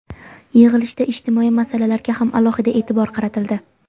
Yig‘ilishda ijtimoiy masalalarga ham alohida e’tibor qaratildi.